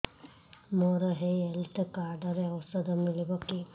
ମୋର ଏଇ health card ରେ ଔଷଧ ମିଳିବ କି